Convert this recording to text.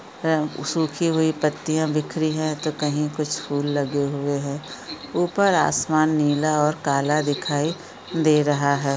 ए सुखी हुई पत्तीयां बिखरी हैं तो कही कुछ फूल लगे हुए हैं ऊपर आसमान नीला और काला दिखाई दे रहा है।